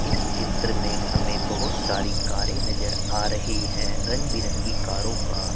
इस चित्र में हमें बहुत सारी कारें नजर आ रही हैं रंग बिरंगी कारों का--